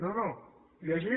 no no llegeixi